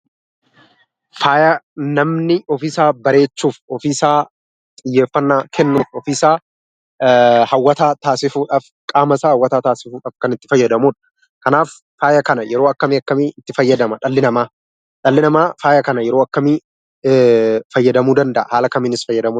Faaya namni ofiisaa bareechuuf, ofiisaa xiyyeeffatnaa kennuuf, ofiisaa hawwataa taasisuudhaaf, qaama isaa hawwataa taasisuudhaaf kan itti fayyadamudha. Kanaaf faaya kana yeroo akkam akkamii itti fayyadama dhalli namaa? Dhalli namaa faaya kana yeroo akkamii fayyadamuu danda'a? Haala kamiinis fayyadamuu danda'a?